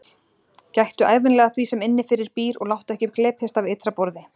Gættu ævinlega að því sem innifyrir býr og láttu ekki glepjast af ytra borði.